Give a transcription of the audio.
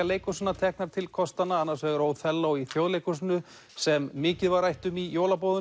leikhúsanna teknar til kostanna annars vegar í Þjóðleikhúsinu sem mikið var rætt um í